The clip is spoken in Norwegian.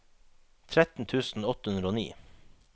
tretten tusen åtte hundre og ni